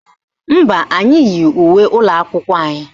Mba, anyị yi uwe ụlọakwụkwọ anyị